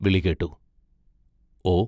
വിളി കേട്ടു: ഓ!